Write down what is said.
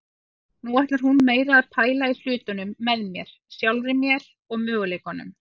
Nú ætlar hún meira að pæla í hlutunum með mér, sjálfri mér og möguleikunum.